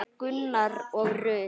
Gunnar og Rut.